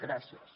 gràcies